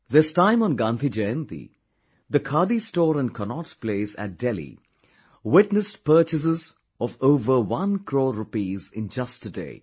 This time on Gandhi Jayanti the khadi store in Cannaught Place at Delhi witnessed purchases of over one crore rupees in just a day